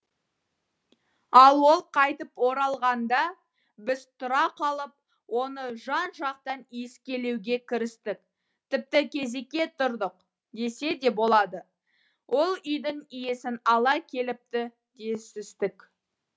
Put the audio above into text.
ал ол қайтып оралғанда біз тұра қалып оны жан жақтан иіскелеуге кірістік тіпті кезекке тұрдық десе де болады ол үйдің иісін ала келіпті десістік